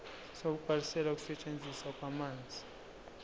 sokubhalisela ukusetshenziswa kwamanzi